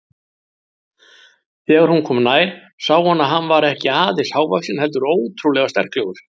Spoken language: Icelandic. Þegar hún kom nær sá hún að hann var ekki aðeins hávaxinn heldur ótrúlega sterklegur.